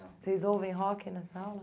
Vocês ouvem rock nessa aula?